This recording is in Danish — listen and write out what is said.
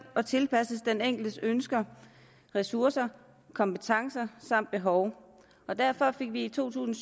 og tilpasset den enkeltes ønsker ressourcer kompetencer samt behov derfor fik vi i to tusind